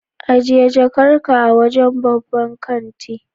Ajiye jakarka a wajen babban kanti.